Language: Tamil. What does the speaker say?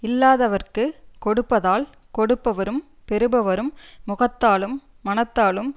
இல்லாதவர்க்கு கொடுப்பதால் கொடுப்பவரும் பெறுபவரும் முகத்தாலும் மனத்தாலும்